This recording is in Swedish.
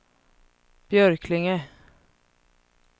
Björklinge